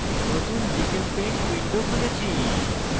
নতুন gchempaint window খুলেছি